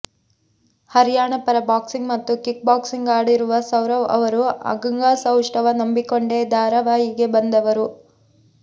ಹರ್ಯಾಣ ಪರ ಬಾಕ್ಸಿಂಗ್ ಮತ್ತು kick boxing ಆಡಿರುವ ಸೌರವ್ ಅವರು ಅಂಗಸೌಷ್ಟವ ನಂಬಿಕೊಂಡೆ ಧಾರವಾಹಿಗೆ ಬಂದವರು